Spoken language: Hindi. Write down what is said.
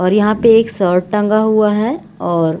और यहाँ पे एक शर्ट टंगा हुआ है और --